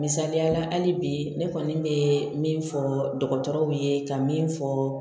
Misaliya la hali bi ne kɔni bɛ min fɔ dɔgɔtɔrɔw ye ka min fɔ